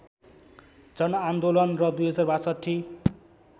जनआन्दोलन र २०६२